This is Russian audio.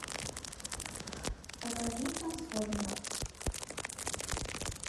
покажи трансформеров